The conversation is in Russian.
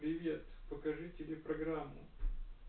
привет покажи телепрограмму